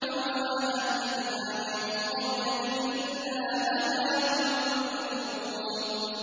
وَمَا أَهْلَكْنَا مِن قَرْيَةٍ إِلَّا لَهَا مُنذِرُونَ